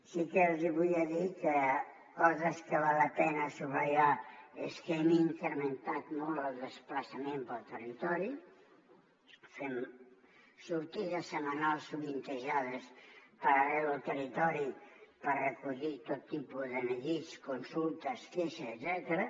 sí que els volia dir que coses que val la pena subratllar és que hem incrementat molt el desplaçament pel territori fem sortides setmanals sovintejades per arreu del territori per recollir tot tipus de neguits consultes queixes etcètera